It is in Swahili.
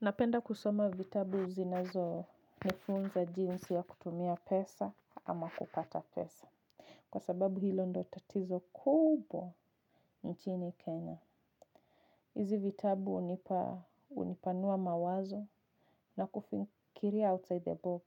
Napenda kusoma vitabu zinazo nifunza jinsi ya kutumia pesa ama kupata pesa. Kwa sababu hilo ndo tatizo kuubwa nchini Kenya. Hizi vitabu unipa unipanua mawazo na kufinkiria outside the box.